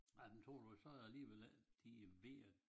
Ej men tror ud så alligevel ikke de ved at